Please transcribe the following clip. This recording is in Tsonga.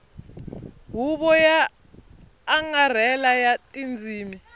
huvo yo angarhela ya tindzimi